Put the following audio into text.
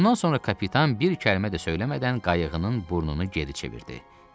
Bundan sonra kapitan bir kəlmə də söyləmədən qayığın burnunu geri çevirdi.